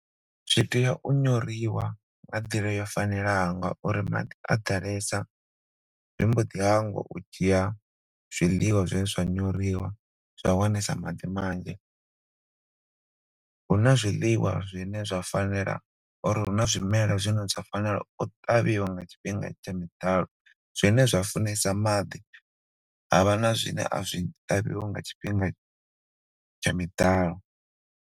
Zwi tea u nyoriwa nga nḓila yo fanela ngauri maḓi a ḓalesa zwi mbo dzhia zwiḽiwa zwe zwa nyoriwa zwa wanesa maḓi manzhi. Huna zwiḽiwa zwine zwa fanela or huna zwimela zwine zwa fanela u ṱavhiwa nga tshifhinga tsha miḓalo zwine zwa funesa maḓi havha na zwine a zwi ṱavhiwi nga tshifhinga miḓalo.